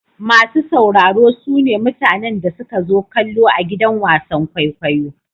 Masu sauraro su ne mutanen da suka zo kallo a gidan wasan kwaikwayo.